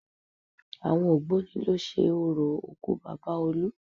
Àwọn ògbóni ló ṣe orò òkú Bàbá olú